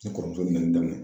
Ne kɔrɔmuso bi mɛni daminɛ.